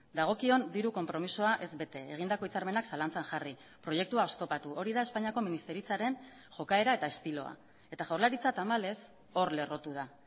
dagokion diru konpromisoa ez bete egindako hitzarmenak zalantzan jarri proiektua oztopatu hori da espainiako ministeritzaren jokaera eta estiloa eta jaurlaritza tamalez hor lerrotu da